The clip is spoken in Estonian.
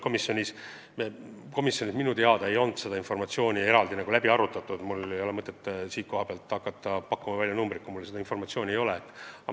Komisjonis minu meelest seda informatsiooni eraldi ei puudutatud ja mul ei ole mõtet hakata siin mingeid numbreid välja pakkuma, kui mul seda informatsiooni ei ole.